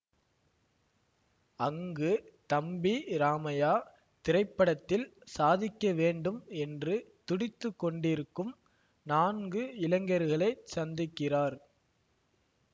அங்கு தம்பி ராமையா திரைப்படத்தில் சாதிக்க வேண்டும் என்று துடித்து கொண்டிருக்கும் நான்கு இளைஞர்களைச் சந்திக்கிறார்